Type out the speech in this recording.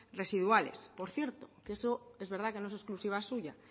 residuales por cierto que eso es verdad que no es exclusiva suya